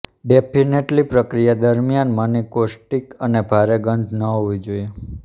definitely પ્રક્રિયા દરમિયાન મની કોસ્ટિક અને ભારે ગંધ ન હોવી જોઈએ